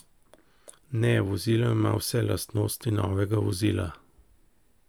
Ne, vozilo ima vse lastnosti novega vozila.